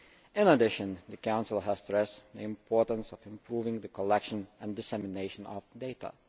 In addition, the Council has stressed the importance of improving the collection and dissemination of data.